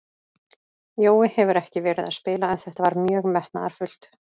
Jói hefur ekki verið að spila en þetta var mjög metnaðarfullt.